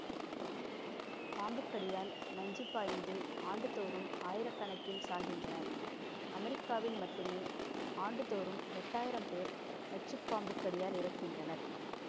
பாம்புக்கடியால் நஞ்சு பாய்ந்து ஆண்டுதோறும் ஆயிர கணக்கில் சாகின்றனர் அமெரிக்காவில் மட்டுமே ஆண்டுதோறும் ஏட்டாயிரம் பேர் நச்சு பாம்புக்கடியால் இறக்கின்றனர்